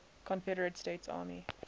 confederate states army